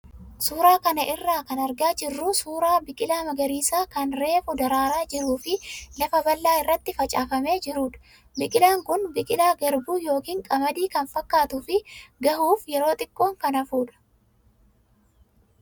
Suuraa kana irraa kan argaa jirru suuraa biqilaa magariisa kan reefu daraaraa jiruu fi lafa bal'aa irratti facaafamee jirudha. Biqilaan kun biqilaa garbuu yookaan qamadii kan fakkaatuu fi gahuuf yeroo xiqqoon kan hafudha.